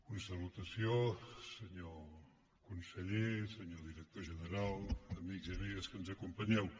una salutació senyor conseller senyor director general amics i amigues que ens acompanyeu